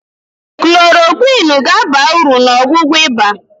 klorokwịnụ ga-aba uru na ọgwụgwọ ịba.